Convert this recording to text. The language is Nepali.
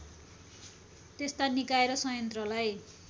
त्यस्ता निकाय र संयन्त्रलाई